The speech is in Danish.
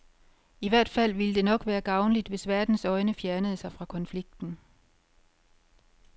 I hvert fald ville det nok være gavnligt, hvis verdens øjne fjernede sig fra konflikten.